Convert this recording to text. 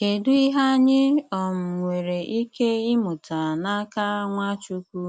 Kédù ìhè ànyị̀ um nwèrè ìkè ịmụ̀tá n'aka Nwachukwu